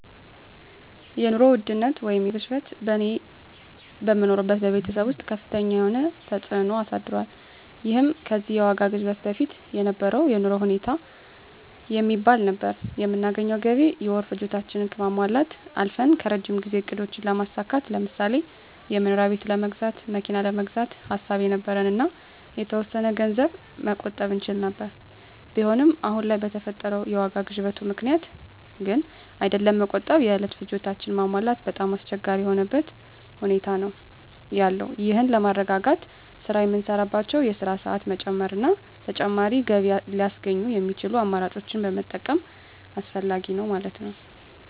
የኑሮ ውድነት ወይንም የዋጋ ግሽበት በእኔ በምኖርበት በቤተሰብ ወስጥ ከፍተኛ የሆነ ተፅእኖ አሳድሯል ይህም ከዚህ የዋጋ ግሽበት በፊት የነበረው የኑሮ ሁኔታ የሚባል ነበር በምናገኘው ገቢ የወር ፍላጎታችን ከማሟላት አልፈን ከረጅም ጊዜ እቅዶችን ለማሳካት ለምሳሌ የመኖሪያ ቤት ለመግዛት መኪና ለመግዛት ሐሳብ የነበረን እና የተወሰነ ገንዘብ መቆጠብ እንችል የነበር ቢሆንም አሁን ለይ በፈጠረው የዋጋ ግሽበቱ ምክንያት ግን አይደለም መቆጠብ የእለት ፍላጎታችን ማሟላት በጣም አስቸጋሪ የሆነበት ሁኔታ ነዎ ያለው ይህን ለማረጋጋት ስራ የምንሳራባቸወን የስራ ሰአት መጨመር እና ተጨማሪ ገቢ ለያስገኙ የሚችሉ አማራጮችን መጠቀም አስፈላጊ ነዉ ማለት ነወ።